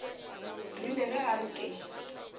rile ge a re ke